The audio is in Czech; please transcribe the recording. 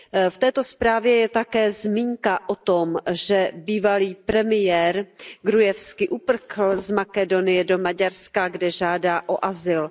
V této zprávě je také zmínka o tom, že bývalý premiér Gruevski uprchl z Makedonie do Maďarska, kde žádá o azyl.